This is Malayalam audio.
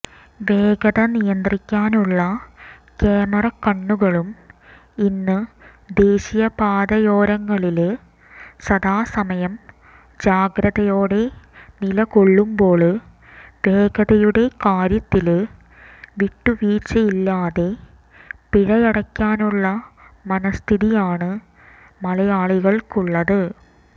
വേഗത നിയന്ത്രിക്കാനുള്ള ക്യാമറക്കണ്ണുകളും ഇന്ന് ദേശീയപാതയോരങ്ങളില് സദാസമയം ജാഗ്രതയോടെ നിലകൊള്ളുമ്പോള് വേഗതയുടെ കാര്യത്തില് വിട്ടുവീഴ്ചയില്ലാതെ പിഴയടയ്ക്കാനുള്ള മനസ്ഥിതിയാണ് മലയാളികള്ക്കുള്ളത്